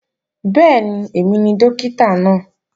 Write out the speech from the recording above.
Bẹ́ẹ̀ni, èmi ni Dókítà náà